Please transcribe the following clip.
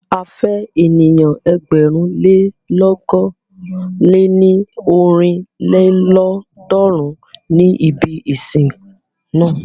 A fẹ́ ènìyàn ẹgbẹ̀rún lé lọ̀kan lé ní ọ́rin lélọ́ọ̀dúnrún ní ibi ìsìn na.